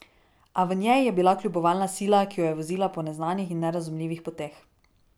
A v njej je bila kljubovalna sila, ki jo je vozila po neznanih in nerazumljivih poteh.